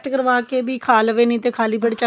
test ਕਰਵਾ ਕੇ ਵੀ ਖਾ ਲਵੇ ਜਾਂ ਫੇਰ ਖਾਲੀ ਪੇਟ